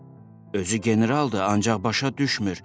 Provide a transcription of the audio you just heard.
Özü generaldır, ancaq başa düşmür.